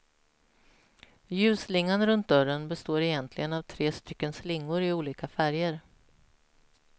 Ljusslingan runt dörren består egentligen av tre stycken slingor i olika färger.